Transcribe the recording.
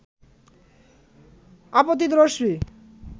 আপতিত রশ্মি